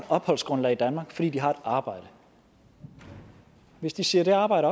opholdsgrundlag i danmark fordi de har et arbejde hvis de siger det arbejde